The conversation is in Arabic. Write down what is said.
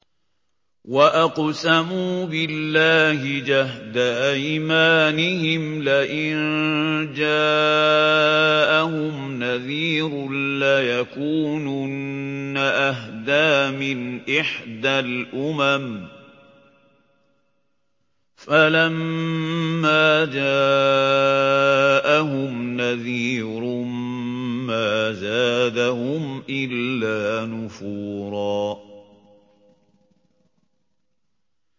وَأَقْسَمُوا بِاللَّهِ جَهْدَ أَيْمَانِهِمْ لَئِن جَاءَهُمْ نَذِيرٌ لَّيَكُونُنَّ أَهْدَىٰ مِنْ إِحْدَى الْأُمَمِ ۖ فَلَمَّا جَاءَهُمْ نَذِيرٌ مَّا زَادَهُمْ إِلَّا نُفُورًا